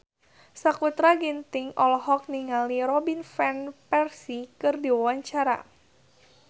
Sakutra Ginting olohok ningali Robin Van Persie keur diwawancara